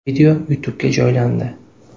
Video YouTube’ga joylandi.